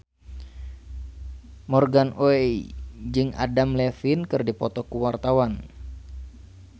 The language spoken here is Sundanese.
Morgan Oey jeung Adam Levine keur dipoto ku wartawan